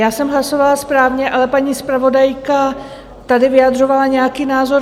Já jsem hlasovala správně, ale paní zpravodajka tady vyjadřovala nějaký názor.